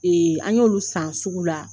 Ee an y'olu san sugu la